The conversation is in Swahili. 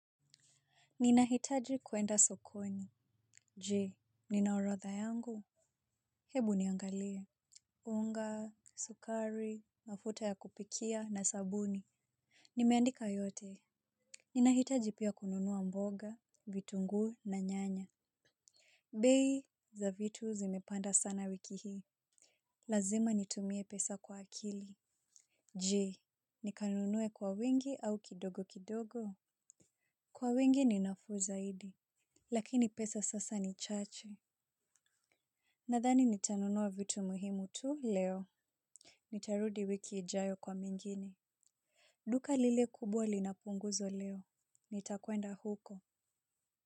Ninahitaji kwenda sokoni. Je, nina orodha yangu? Hebu niangalie. Unga, sukari, mafuta ya kupikia na sabuni. Nimeandika yote. Ninahitaji pia kununua mboga, vitunguu na nyanya. Bei za vitu zimepanda sana wiki hii. Lazima nitumie pesa kwa akili. Je, nikanunue kwa wingi au kidogo kidogo. Kwa wingi ninafuu zaidi. Lakini pesa sasa ni chache. Nadhani nitanunua vitu muhimu tu leo. Nitarudi wiki ijayo kwa mengine. Duka lile kubwa linapunguzo leo. Nitakwenda huko.